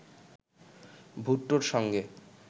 ভুট্টোর সঙ্গে